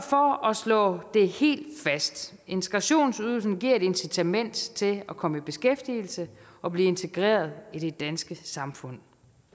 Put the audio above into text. slå det helt fast integrationsydelsen giver et incitament til at komme i beskæftigelse og blive integreret i det danske samfund